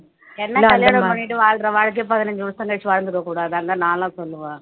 என்ன கல்யாணம் பண்ணிட்டு வாழுற வாழ்க்கை பதினைந்து வருஷம் கழிச்சு வாழ்ந்திட கூடாதான்னு தான் நான்லாம் சொல்லுவேன்